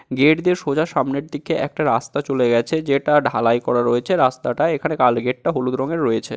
Gate দিয়ে সোজা সামনের দিকে একটা রাস্তা চলে গেছে যেটা ঢালাই করা রয়েছে। রাস্তাটা এখানে কালো গেটটা হলুদ রঙে রয়েছে।